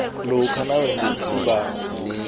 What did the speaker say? lokha nawenze isibawo